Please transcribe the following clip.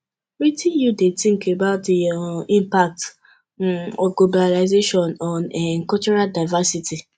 wetin you think about di um impact um of globalization on um cultural divcersity